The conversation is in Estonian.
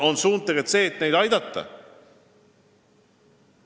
Suund on see, et neid riike aidata.